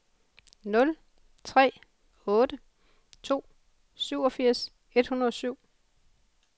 nul tre otte to syvogfirs et hundrede og syv